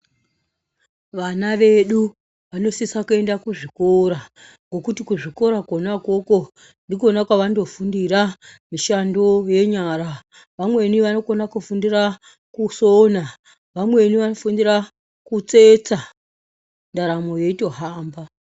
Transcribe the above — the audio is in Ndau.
Vana vedu vanosisa kuenda kuzvikora nekuti kuzvikora ikona ikoko ndikona kwavanofundira mishando yenyara , vamweni vanokona kufundira kusona, vamweni vanofundira kutsetsa dharamo yeitohamba.